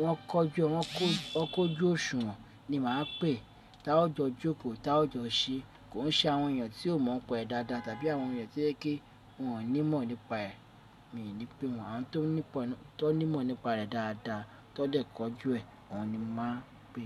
wọ́n kọjú, won ko, ọkojú òṣùwọ̀n ni màá pè, tá o jọ jókòó, tá o jọ ṣe. Kò ń ṣe àwọn èèyàn tí ò mọ̀ n pa ẹ dáadáa tàbí àwọn èèyàn tí ó yẹ ke wọ́n ní mọ̀ nípa ẹ̀. Mi ò ní pè wọ́n. Àwọn tó ní mọ̀ nípa rẹ̀ dáadáa, tọ lè kọjú ẹ̀, oun ni mo màá n pè.